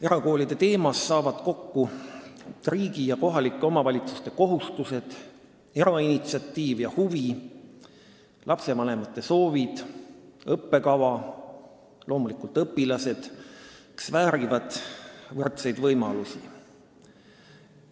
Erakoolide teemas saavad kokku riigi ja kohalike omavalitsuste kohustused, erainitsiatiiv ja -huvi, lastevanemate soovid, õppekava, loomulikult õpilased, kes väärivad võrdseid võimalusi.